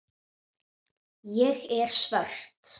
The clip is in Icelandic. Ég er svört.